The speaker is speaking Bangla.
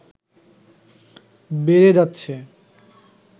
বেড়ে যাচ্ছে